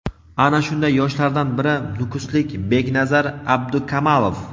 Ana shunday yoshlardan biri nukuslik Beknazar Abdikamalov.